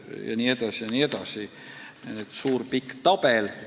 Jne, jne – suur pikk tabel.